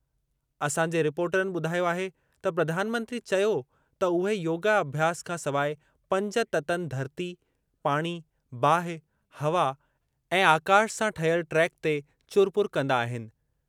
असांजे रिपोर्टनि ॿुधायो आहे त प्रधानमंत्री चयो त उहे योगा अभ्यास खां सवाइ पंज ततनि धरती, पाणी, बाहि, हवा ऐं आकाश सां ठहियल ट्रैक ते चुर पुर कंदा आहिनि।